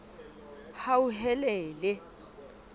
hauhelele